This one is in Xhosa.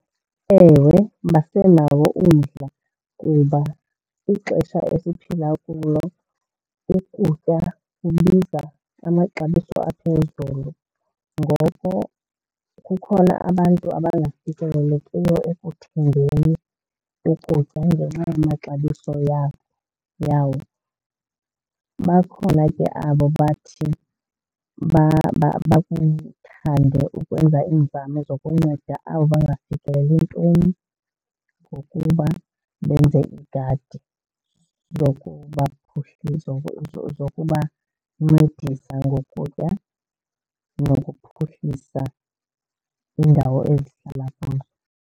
Ewe, basenawo umdla kuba ixesha esiphila kulo ukutya kubiza amaxabiso aphezulu. Ngoko kukhona abantu abangafikelelekiyo ekuthengeni ukutya ngenxa yamaxabiso yabo, yawo. Bakhona ke abo bathi bakuthande ukwenza iinzame zokunceda abo bangafikeleli ntweni ngokuba benze iigadi zokubancedisa ngokutya nokuphuhlisa iindawo ezihlala kuzo.